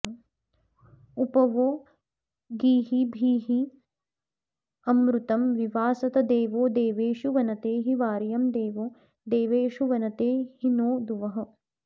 उप वो गीर्भिरमृतं विवासत देवो देवेषु वनते हि वार्यं देवो देवेषु वनते हि नो दुवः